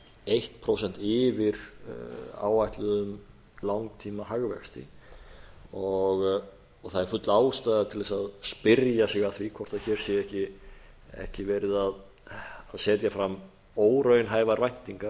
eitt prósent yfir áætluðum langtímahagvexti og það er full ástæða til þess að spyrja sig að því hvort hér sé ekki verið að setja fram óraunhæfar væntingar